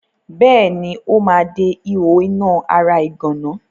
Bẹ́ẹ̀ni, ó ma de ihò iná ara ìgànná.